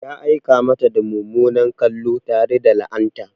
Ya aika mata da mummunan kallo tare da la'anta.